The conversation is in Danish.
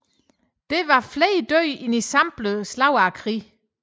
Dette var flere døde end i samtlige slag i krigen